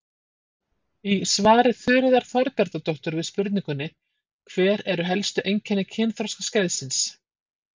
Í svari Þuríðar Þorbjarnardóttur við spurningunni: Hver eru helstu einkenni kynþroskaskeiðs?